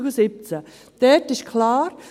Dort ist es klar;